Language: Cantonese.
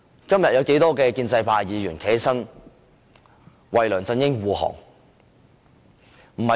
今天有多少位建制派議員站起來為梁振英護航？